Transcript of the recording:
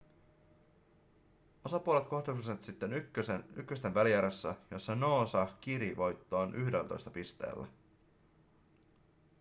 osapuolet kohtasivat sitten ykkösten välierässä jossa noosa kiri voittoon 11 pisteellä